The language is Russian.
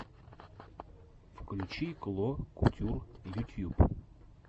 включи кло кутюр ютьюб